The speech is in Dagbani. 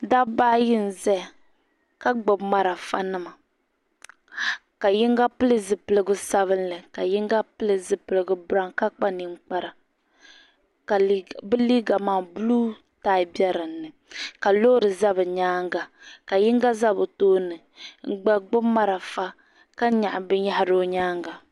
Dabba ayi n ʒɛya ka gbubi marafa nima ka yinga pili zipli sabinli ka yinga pili zipiligu biraawn ka kpa ninkpara ka bi liiga maa buluu taai bɛ dinni ka loori ʒɛ bi nyaanga ka yinga ʒɛ bi tooni n gba gbubi marafa ka nyaɣi binyahari o nyaanga